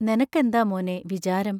നെനക്കെന്താ മോനേ വിചാരം?